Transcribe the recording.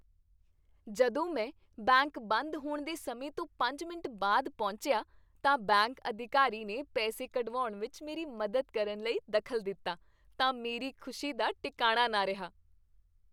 ਜਦੋਂ ਮੈਂ ਬੈਂਕ ਬੰਦ ਹੋਣ ਦੇ ਸਮੇਂ ਤੋਂ ਪੰਜ ਮਿੰਟ ਬਾਅਦ ਪਹੁੰਚਿਆ ਤਾਂ ਬੈਂਕ ਅਧਿਕਾਰੀ ਨੇ ਪੈਸੇ ਕਢਵਾਉਣ ਵਿੱਚ ਮੇਰੀ ਮਦਦ ਕਰਨ ਲਈ ਦਖ਼ਲ ਦਿੱਤਾ ਤਾਂ ਮੇਰੀ ਖ਼ੁਸ਼ੀ ਦਾ ਟਿਕਾਣਾ ਨਾ ਰਿਹਾ